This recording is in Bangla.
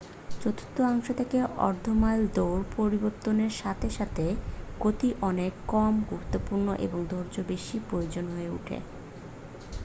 চতুর্থাংশ থেকে অর্ধ মাইল দৌড় পরিবর্তনের সাথে সাথে গতি অনেক কম গুরুত্বপূর্ণ এবং ধৈর্য বেশি প্রয়োজনীয় হয়ে ওঠে